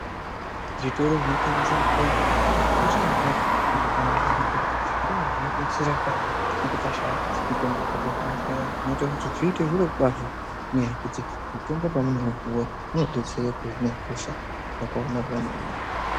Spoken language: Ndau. Zvitoro zvinotengesa mutombo zvakakosha maningi mundaramo dzedu ngekuti ndodzodetsera patinenge tashaya mitombo kuzvibhedhlera inoita kuti zviite zviro kwazvo ngekuti mitombo pamweni nguva inodetsera kuhina hosha yakaomarara maningi.